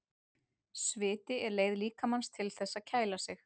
Sviti er leið líkamans til þess að kæla sig.